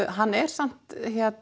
hann er samt